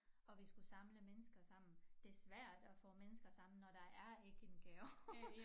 Og vi skulle samle mennesker sammen det svært at få mennesker sammen når der er ikke en gave